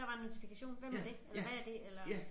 Der var en notifikation hvem var det eller hvad er det eller